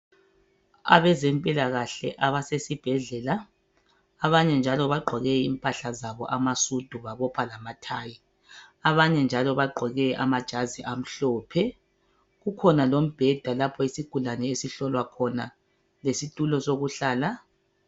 Abezempilakahle abasesibhedlela. Abanye njalo bagqoke impahla zabo amasudu babopha lamathayi. Abanye njalo bagqoke amajazi amhlophe. Kukhona lombheda lapho isigulane esihlolwa khona lesitulo sokuhlala.